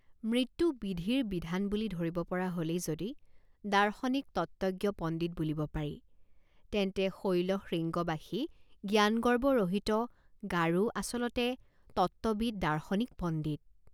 মৃত্যুবিধিৰ বিধান বুলি ধৰিব পৰা হলেই যদি দাৰ্শনিক তত্ত্বজ্ঞ পণ্ডিত বুলিব পাৰি তেন্তে শৈলশৃঙ্গবাসী জ্ঞান গৰ্ব ৰহিত গাৰো আচলতে তত্ত্ববিৎ দাৰ্শনিক পণ্ডিত।